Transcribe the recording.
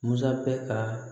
Musa bɛ ka